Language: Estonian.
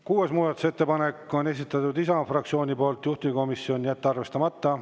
Kuues muudatusettepanek, esitanud Isamaa fraktsioon, juhtivkomisjon: jätta arvestamata.